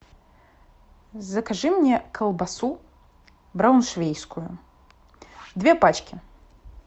закажи мне колбасу брауншвейгскую две пачки